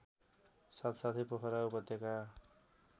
साथसाथै पोखरा उपत्यका